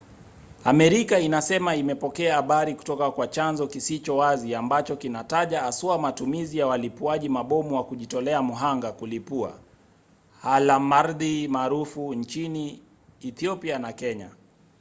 amerika inasema imepokea habari kutoka kwa chanzo kisicho wazi ambacho kinataja haswa matumizi ya walipuaji mabomu wa kujitolea mhanga kulipua alamardhi maarufu nchini ethiopia na kenya